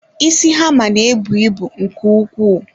Isi hammer ná-ebu ịbụ nke ukwuu.